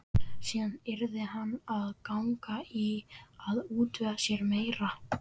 Síðan yrði hann að ganga í að útvega sér meira.